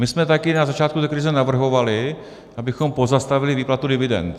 My jsme také na začátku té krize navrhovali, abychom pozastavili výplatu dividend.